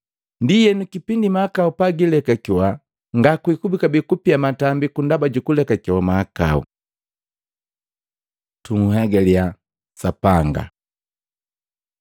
Ndienu kipindi mahakau pagiilekakewa, ngakwikubi kabee kupia matambiku ndaba ju kulekakewa mahakau. Tunhegaliya Sapanga